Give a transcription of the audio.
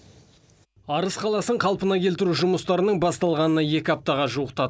арыс қаласын қалпына келтіру жұмыстарының басталғанына екі аптаға жуықтады